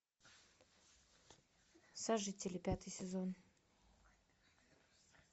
сожители пятый сезон